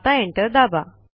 आता एंटर दाबा